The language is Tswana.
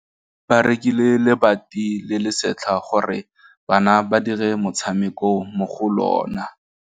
Ba rekile lebati le le setlha gore bana ba dire motshameko mo go lona.